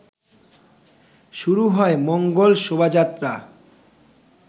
শুরু হয় মঙ্গল শোভাযাত্রা